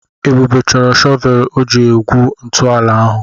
Ebube chọrọ shọvel iji gwuo ntọala ahụ.